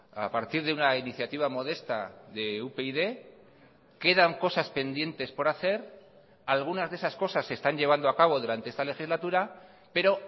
a partir de una iniciativa modesta de upyd quedan cosas pendientes por hacer algunas de esas cosas se están llevando a cabo durante esta legislatura pero